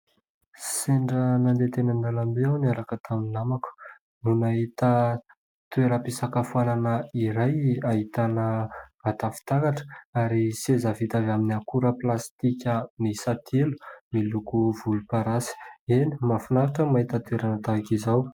Sendra nandeha teny amin'ny lalambe aho niaraka tamin'ny namako, no nahita toeram-pisakafoanana iray ahitana vata fitaratra ary seza vita avy amin'ny akora plastika miisa telo miloko volomparasy. Eny mahafinaritra ny mahita toerana tahaka izao.